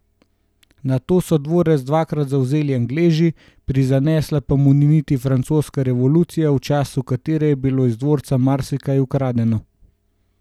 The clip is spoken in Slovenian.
Nato so dvorec dvakrat zavzeli Angleži, prizanesla pa mu ni niti francoska revolucija, v času katere je bilo iz dvorca marsikaj ukradeno.